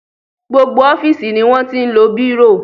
Gbogbo ọ́fíìsì ni wọ́n ti ń lo bírò.